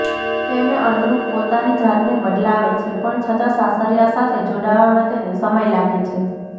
તેને અનુરૂપ પોતાની જાતને બદલાવે છે પણ છતાં સાસરિયાં સાથે જોડવામાં તેને સમય લાગે છે